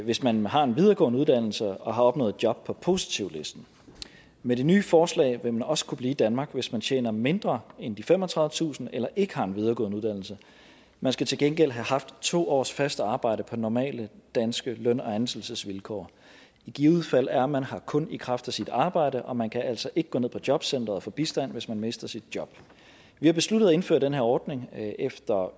hvis man har en videregående uddannelse og har opnået job på positivlisten med det nye forslag vil man også kunne blive i danmark hvis man tjener mindre end femogtredivetusind kroner eller ikke har en videregående uddannelse man skal til gengæld have haft to års fast arbejde på normale danske løn og ansættelsesvilkår i givet fald er man her kun i kraft af sit arbejde og man kan altså ikke gå ned på jobcenteret og få bistand hvis man mister sit job vi har besluttet at indføre den her ordning efter